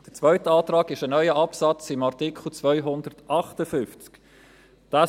Der zweite Antrag betrifft einen neuen Absatz unter Artikel 258.